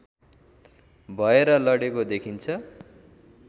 भएर लडेको देखिन्छ